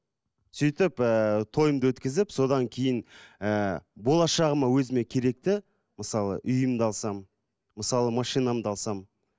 сөйтіп ііі тойымды өткізіп содан кейін ііі болашағыма өзіме керекті мысалы үйімді алсам мысалы машинамды алсам